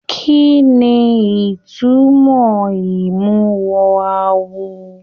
Kínní ìtumọ̀ imuwọ̀ awo?